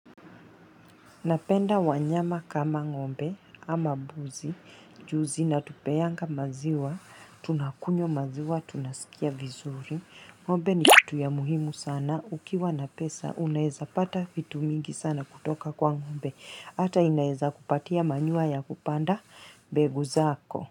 Napenda wanyama kama ng'ombe, ama mbuzi, ju zinatupeanga maziwa, tunakunywa maziwa, tunasikia vizuri. Ng'ombe ni kitu ya muhimu sana. Ukiwa na pesa, unaeza pata vitu mingi sana kutoka kwa ng'ombe. Hata inaezakupatia manure ya kupanda mbegu zako.